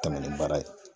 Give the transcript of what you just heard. Tɛmɛ ni baara ye